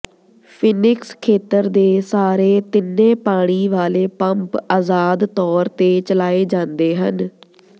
Phoenix ਖੇਤਰ ਦੇ ਸਾਰੇ ਤਿੰਨੇ ਪਾਣੀ ਵਾਲੇ ਪੰਪ ਆਜ਼ਾਦ ਤੌਰ ਤੇ ਚਲਾਏ ਜਾਂਦੇ ਹਨ